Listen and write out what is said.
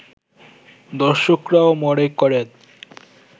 দর্শকরাও মনে করেন